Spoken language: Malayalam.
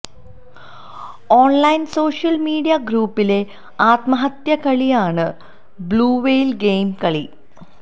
ഓണ്ലൈന് സോഷ്യല് മീഡിയാ ഗ്രൂപ്പിലെ ആത്മഹത്യാ കളിയാണ് ബ്ളൂവെയില് ഗെയിം കളി